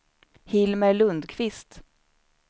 Hilmer Lundqvist